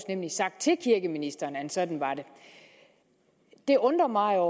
nemlig sagt til kirkeministeren at sådan var det det undrer mig